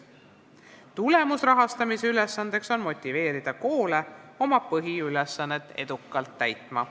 Tulemusrahastamise ülesanne on motiveerida koole oma põhiülesannet edukalt täitma.